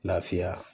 Lafiya